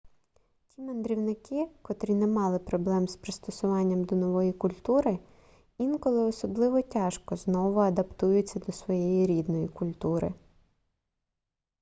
ті мандрівники котрі не мали проблем з пристосуванням до нової культури інколи особливо тяжко знову адаптуються до своєї рідної культури